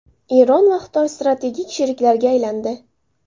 Eron va Xitoy strategik sheriklarga aylandi.